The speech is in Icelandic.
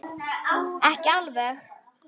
Ekki alveg.